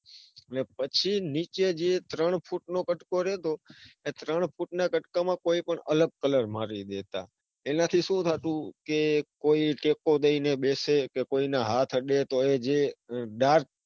પછી નીચે જે ત્રણ ફુટ નો કટકો રેતો. એ ત્રણ ફૂટના કટકા માં કોઈ પણ અલગ colour મારી દેતા. એના થી સુ થતું, કે કોઈ ટેકો લઈને બેસે કે કોઈનો હાથ અડે. તો એજે ટાઢ